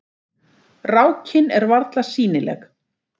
Rákin er varla sýnileg.